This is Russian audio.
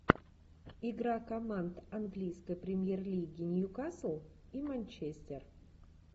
игра команд английской премьер лиги ньюкасл и манчестер